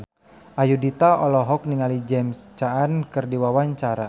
Ayudhita olohok ningali James Caan keur diwawancara